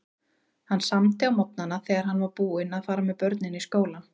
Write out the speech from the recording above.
Hann samdi á morgnana þegar hann var búinn að fara með börnin í skólann.